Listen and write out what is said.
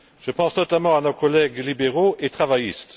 Je pense notamment à nos collègues libéraux et travaillistes.